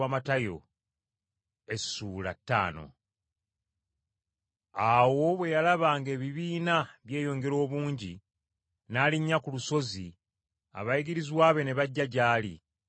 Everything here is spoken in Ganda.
Awo Yesu bwe yalaba ng’ebibiina byeyongera obungi, n’alinnya ku lusozi, abayigirizwa be ne bajja gy’ali,